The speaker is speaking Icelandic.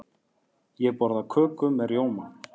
Ég borða köku með rjóma.